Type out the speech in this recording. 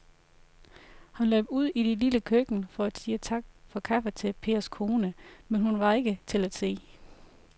Han løb ud i det lille køkken for at sige tak for kaffe til Pers kone, men hun var ikke til at se.